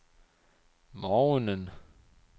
morgenen